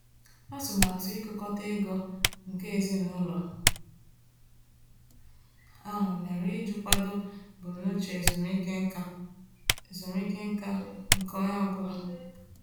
Atụmatụ ịtukọta ego nke ezinụlọ ahụ mere iji kwado ebumnuche ezumike nká ezumike nká nke onye ọ bụla.